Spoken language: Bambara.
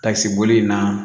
Tasiboli in na